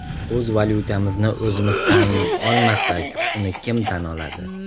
O‘z valyutamizni o‘zimiz tan olmasak, uni kim tan oladi?